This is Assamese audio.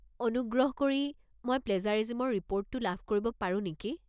অনুগ্ৰহ কৰি মই প্লেজাৰিজিমৰ ৰিপোৰ্টটো লাভ কৰিব পাৰো নেকি?